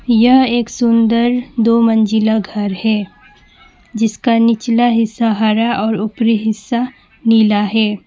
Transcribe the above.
यह एक सुंदर दो मंजिला घर है जिसका निचला हिस्सा हारा और ऊपरी हिस्सा नीला है।